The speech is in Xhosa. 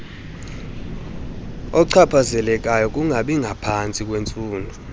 ochaphazelekayo kungabingaphantsi kweentsuku